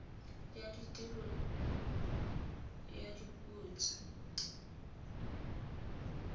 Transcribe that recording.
ya tiriso ya dipuo tse